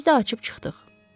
Biz də açıb çıxdıq.